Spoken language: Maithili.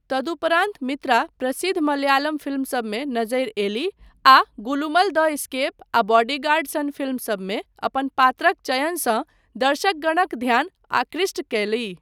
तदुपरान्त मित्रा प्रसिद्ध मलयालम फिल्मसबमे नजरि अयलीह, आ गुलुमल द एस्केप आ बॉडीगार्ड सन फिल्म सबमे अपन पात्रक चयनसँ दर्शकगणक ध्यान आकृष्ट कयलीह।